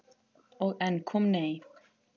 Og enn kom nei.